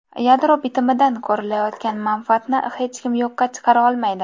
Yadro bitimidan ko‘rilayotgan manfaatni hech kim yo‘qqa chiqara olmaydi.